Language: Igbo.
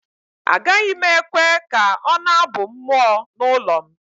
Agaghị m ekwe ka ọ na-abụ mmụọ n’ụlọ m